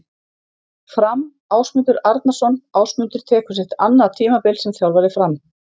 Fram- Ásmundur Arnarsson Ásmundur tekur sitt annað tímabil sem þjálfari Fram.